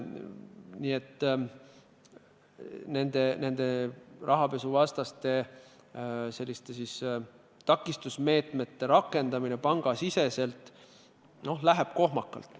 Seetõttu läheb rahapesuvastaste meetmete rakendamine pankades kohmakalt.